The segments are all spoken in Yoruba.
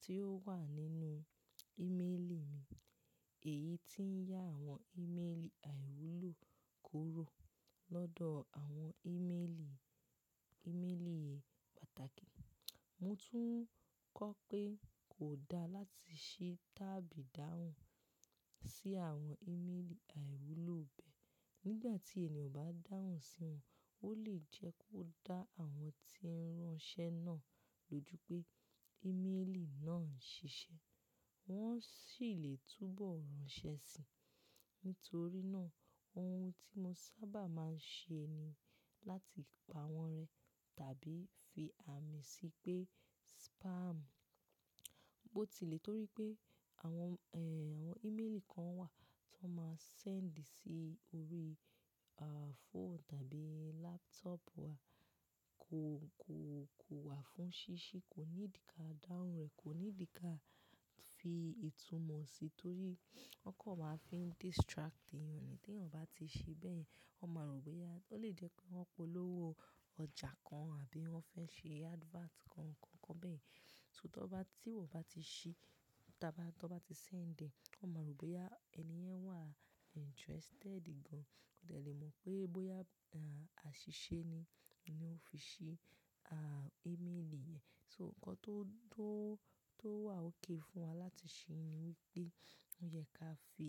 tí ó wà nínú ímélì mi. Èyí tí ń yá àwọn ímélì àìwúlò kúrò lọ́dọ̀ àwọn ímélì, ímélì pàtàkì. Mo tún kọ́ pé kò da láti ṣi tábu idáhùn sí àwọn ímélì àìwúlò bẹ́ẹ̀. Nígbà tí ènìyàn bá dáhùn sí wọn, ó lè jẹ́ kó dá àwọn tí ń ránṣẹ́ náà lójú pé ímélì náà ń ṣiṣẹ́. Wọ́n sì lè túbọ̀ ránṣẹ́ síi. Nítorí náà ohun tí mo sábà máa ń ṣe ni láti pa wọ́n rẹ tàbí fi àmì sí pé spam. Bó tilẹ̀ torí pé àwọn, ẹ, àwọn ímélì kan wà tó máa send sí orí, à, fóònù tàbí laptop wa kò, kò, kò wà fún ṣíṣí, kò ní ìdíkà dáhùn rẹ̀, kò ní ìdí kà fi ìtumọ̀ sí torí wọ́n kọ̀ máa ń fi distract ènìyàn. Tí ènìyàn bá ti ṣe bẹ́ẹ̀, wọ́n máa rò ó pé ya-- ó lè jẹ́ pé wọ́n polówó ọjà kan àbí wọ́n fẹ́ ṣe advert kan, kankan bẹ́ẹ̀. So tí wọ́n bá ti ṣe, tàbí tí wọ́n bá ti send, wọ́n máa rò ó pé ẹni yẹn wà interested gan-an. Ó lè mọ̀ pé bóyá, à, àṣìṣe ni ó fi ṣe, à, ímélì yẹn. So nǹkan tó, tó, tó wà ókay fún wa láti ṣe ni wípé ó yẹ ká fi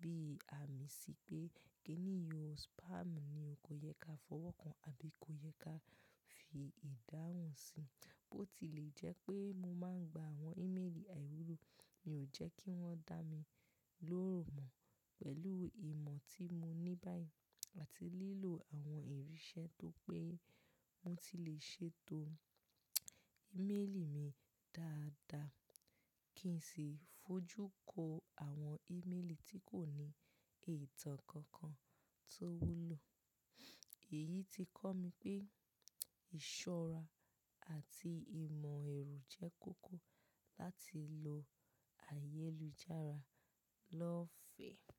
bí àmì sí pé kí èyí o spam ni, o kò yẹ ká fọwọ́ kan àbí kò yẹ ká fi ìdáhùn sí. Bó tilẹ̀ jẹ́ pé mo máa ń gba àwọn ímélì àìwúlò, mi ò jẹ́ kí wọ́n dá mi lóòrùn mọ̀. Pẹ̀lú ìmọ̀ tí mo ní báyìí àti lílò àwọn ìrínṣẹ́ tó pé mo ti lè ṣètò ímélì mi dáadáa kí n sì fojú kó àwọn ímélì tí kò ní ìtàn kankan tó wúlò. Èyí ti kọ́ mi pé ìṣọ́ra àti ìmọ̀ ẹ̀rù jẹ́ kókó láti lo ayélujára lọ́fẹ̀ẹ́.